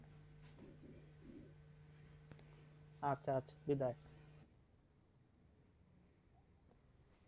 আচ্ছা আচ্ছা বিদায়.